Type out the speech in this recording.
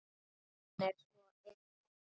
Ó, hann er svo indæll!